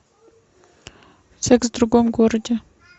секс в другом городе